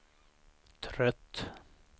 trött